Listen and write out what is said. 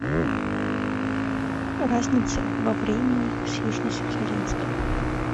разница во времени с южно сахалинском